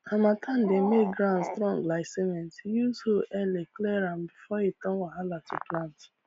harmattan dey make ground strong like cement use hoe early clear am before e turn wahala to plant